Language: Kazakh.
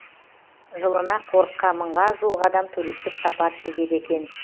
жылына қорыққа мыңға жуық адам туристік сапар шегеді екен